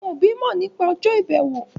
Àwọn òbí mọ̀ nípa ọjọ́ ìbẹ̀wò.